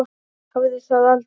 Hafði það aldrei.